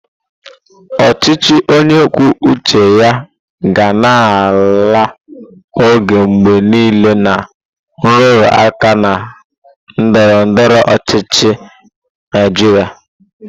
Ọchịchị onye kwuo uche ya ga na-alụ ọgụ mgbe niile na nrụrụ aka na ndọrọ ndọrọ ọchịchị na Naijiria.